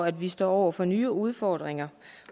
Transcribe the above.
at vi står over for nye udfordringer